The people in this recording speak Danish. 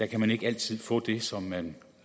kan man ikke altid få det som man